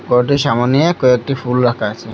ঘরটির সামনে কয়েকটি ফুল রাখা আছে।